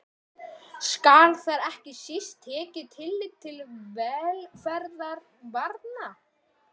Skal þar ekki síst tekið tillit til velferðar barna.